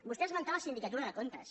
vostè ha esmentat la sindicatura de comptes